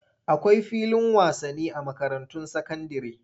Akwai filin wasani a makarantun sakandire.